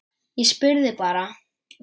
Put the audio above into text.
Ég spurði bara.